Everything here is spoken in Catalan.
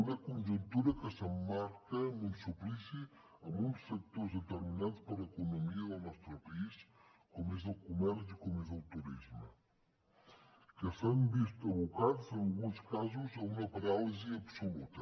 una conjuntura que s’emmarca en un suplici en uns sectors determinants per a l’economia del nostre país com és el comerç i com és el turisme que s’han vist abocats en alguns casos a una paràlisi absoluta